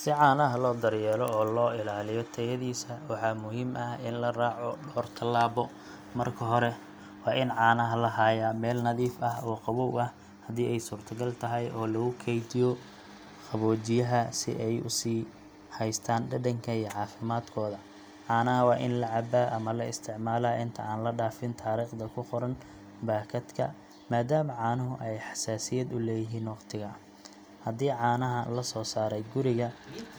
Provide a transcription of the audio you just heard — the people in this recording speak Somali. Si caanaha loo daryeelo oo loo ilaaliyo tayadiisa, waxaa muhiim ah in la raaco dhowr tallaabo. Marka hore, waa in caanaha la hayaa meel nadiif ah oo qabow, haddii ay suurtagal tahay in la ku kaydiyo qaboojiyaha si ay u sii haystaan dhadhanka iyo caafimaadkooda. Caanaha waa in la cabaa ama la isticmaalaa inta aan la dhaafin taariikhda ku qoran baakadka, maadaama caanuhu ay xasaasiyad u leeyihiin waqtiga. Haddii caanaha la soo saaray guriga,